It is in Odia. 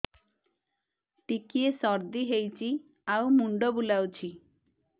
ଟିକିଏ ସର୍ଦ୍ଦି ହେଇଚି ଆଉ ମୁଣ୍ଡ ବୁଲାଉଛି